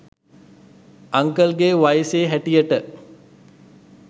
uncle ගේ වයසේ හැටියට